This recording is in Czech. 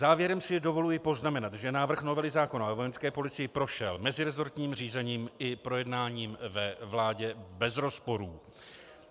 Závěrem si dovoluji poznamenat, že návrh novely zákona o Vojenské policii prošel meziresortním řízením i projednáním ve vládě bez rozporů.